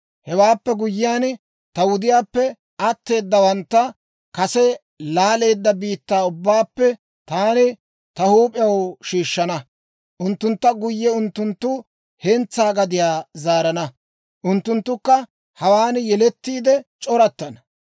Hewaappe guyyiyaan, ta wudiyaappe atteedawantta kase laaleedda biittaa ubbaappe taani ta huup'iyaan shiishshana. Unttuntta guyye unttuntta hentsaa gadiyaa zaarana. Unttunttukka hawaan yelettiide c'orattana.